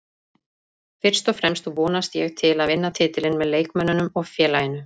Fyrst og fremst vonast ég til að vinna titilinn með leikmönnunum og félaginu